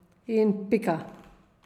In pika.